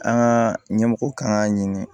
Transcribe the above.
An ka ɲɛmɔgɔ kan k'a ɲini